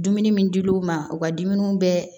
Dumuni min dil'u ma u ka dumuni bɛ